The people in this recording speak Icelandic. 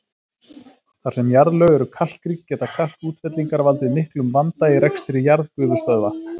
Þar sem jarðlög eru kalkrík geta kalkútfellingar valdið miklum vanda í rekstri jarðgufustöðva.